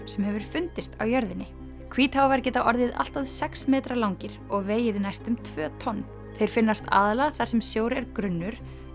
sem hefur fundist á jörðinni geta orðið allt að sex metra langir og vegið næstum tvö tonn þeir finnast aðallega þar sem sjór er grunnur